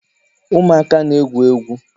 Ụmụaka na-egwu egwu